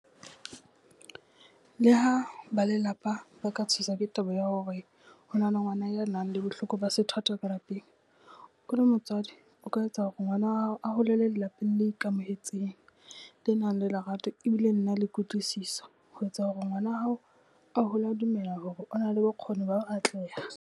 Leha ba lelapa ba ka tshoswa ke taba ya hore ho na le ngwana ya nang le bohloko ba sethwathwa ka lapeng, o le motswadi o ka etsa hore ngwana wa hao a holele lapeng le ikamohetseng, le nang le lerato e bile le na le kutlwisiso ho etsa hore ngwana hao a hole a dumela hore o na le bokgoning ba ho atleha.